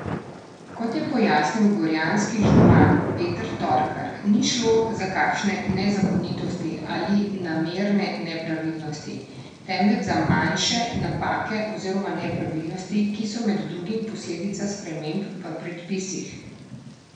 Kot je pojasnil gorjanski župan Peter Torkar, ni šlo za kakšne nezakonitosti ali namerne nepravilnosti, temveč za manjše napake oziroma nepravilnosti, ki so med drugim posledica sprememb v predpisih.